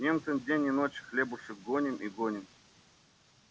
немцам день и ночь хлебушек гоним и гоним